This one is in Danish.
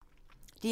DR1